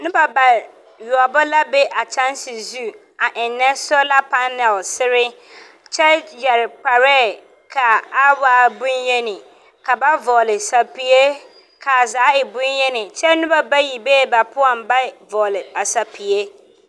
Noba ba yoͻbo la be a kyԑnse zu a ennԑ sola panalesere, kyԑ yԑre kparԑԑ ka a waa boŋyeni, ka ba vͻgele sapie kaa zaa waa boŋyini kyԑ noba bayi bee ba poͻŋ a ba vͻgele sapie.